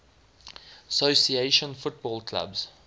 association football clubs